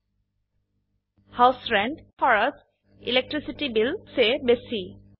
ঘৰ ভাড়াৰ house rent খৰচ বিদ্যুৎ মাশুলত ইলেক্ট্ৰিচিটি বিল চে বেশী